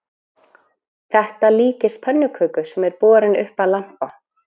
Þetta líkist pönnuköku sem er borin upp að lampa